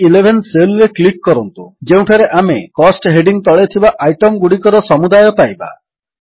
C11 cell ରେ click କରନ୍ତୁ ଯେଉଁଠାରେ ଆମେ କୋଷ୍ଟ ହେଡିଙ୍ଗ୍ ତଳେ ଥିବା ଆଇଟମ୍ ଗୁଡ଼ିକର ସମୁଦାୟ ପାଇବା